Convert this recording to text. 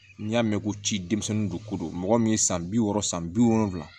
N'i y'a mɛn ko ci denmisɛnnin don ko don mɔgɔ min ye san bi wɔɔrɔ san bi wolonwula